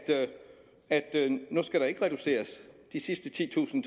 at nu skal der ikke reduceres de sidste titusind